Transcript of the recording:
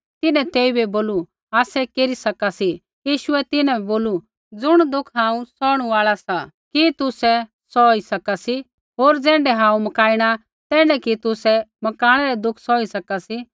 तिन्हैं तेइबै बोलू आसै केरी सका सी यीशुऐ तिन्हां बै बोलू ज़ुण दुःख हांऊँ सौहणु आल़ा सा कि तुसै सौही सका सी होर ज़ैण्ढै हांऊँ मकाइणा तैण्ढै कि तुसै मकाणै रै दुःख सौही सका सी